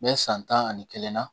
N bɛ san tan ani kelen na